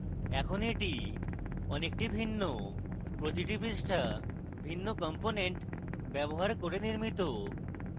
এখন এটি অনেকটি ভিন্ন প্রতিটি পৃষ্ঠা ভিন্ন কম্পোনেন্ট ব্যবহার করে নির্মিত